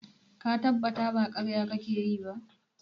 Ka tabbata ba ƙarya kake yi ba?